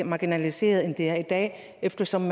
marginaliserede end de er i dag eftersom